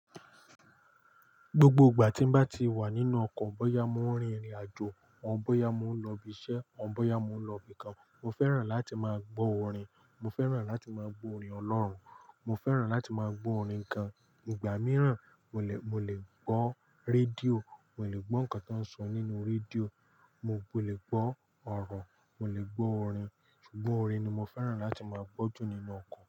Gbogbo ìgbà tí n bá ti wà nínú ọkọ̀, bóyá mo ń rin ìrìnàjò, ò bóyá mo ń lọ ibi iṣẹ́, ò bóyá mo ń lọ ibìkan. Mo fẹ́ràn láti máa gbọ́ orin. Mo fẹ́ràn láti máa gbọ́ orin Ọlọ́run. Mo fẹ́ràn láti máa gbọ́ orin gán. Ìgbà mìíràn, mo le, mo le gbọ́ radío, mo le gbọ́ nǹkan tó ń sọ nínú radío, mo le gbọ́ ọ̀rọ̀, mo le gbọ́ orin. Ṣùgbọ́n orin ni mo fẹ́ràn láti máa gbọ́ jù nínú ọkọ̀